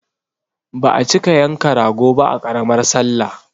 Ba a cika yanka rago ba a ƙaramar sallah